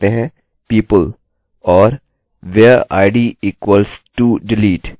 चलिए टाइप करते हैं people और where id equals todelete